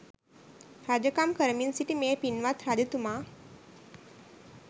රජකම් කරමින් සිටි මේ පින්වත් රජතුමා